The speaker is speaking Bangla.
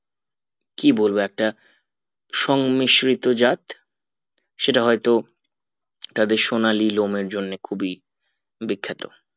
কি বলবো একটা সংমিশ্রিত জাত সেটা হয়তো তাদের সোনালী লোম এর জন্য খুবই বিখ্যাত